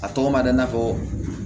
A tɔgɔ ma di i n'a fɔ